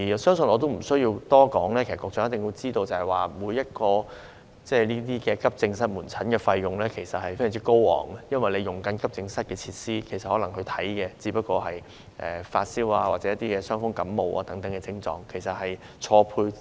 相信我不多說，局長也一定知道，用於提供急症室門診的費用其實非常高昂，因為市民使用急症室的設施，可能只為診治發燒或傷風感冒等症狀，資源嚴重錯配。